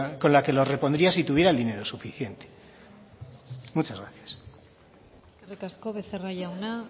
con la que lo repondría si tuviera el dinero suficiente muchas gracias eskerrik asko becerra jauna